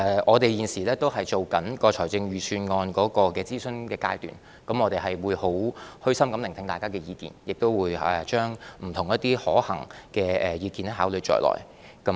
我們現正在預算案的諮詢階段，我們會虛心聆聽大家的意見，亦會將不同的可行意見考慮在內。